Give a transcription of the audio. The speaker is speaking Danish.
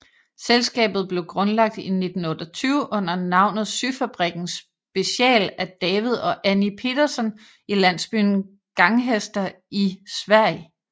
Selskabet blev grundlagt i 1928 under navnet Syfabriken Special af David og Annie Petterson i landsbyen Gånghester i Sverige